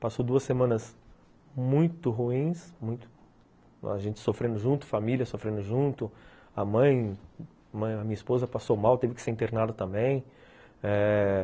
Passou duas semanas muito ruins, muito, a gente sofrendo junto, família sofrendo junto, a mãe, a minha esposa passou mal, teve que ser internada também eh...